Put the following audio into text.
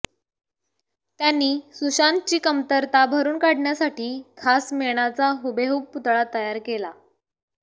त्यांनी सुशांतची कमतरता भरून काढण्यासाठी खास मेणाचा हुबेहुब पुतळा तयार केला